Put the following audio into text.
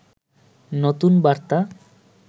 নতুন বার্তা